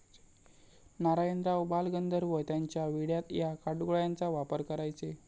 नारायणराव बालगंधर्व त्यांच्या विड्यात या काटगोळ्यांचा वापर करायचे.